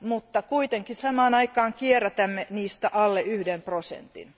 mutta kuitenkin samaan aikaan kierrätämme niistä alle yhden prosentin.